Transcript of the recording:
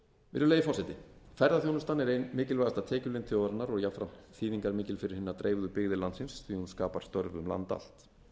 virðulegi forseti ferðaþjónustan er ein mikilvægasta tekjulind þjóðarinnar og jafnframt þýðingarmikil fyrir hinar dreifðu byggðir landsins því að hún skapar störf um land allt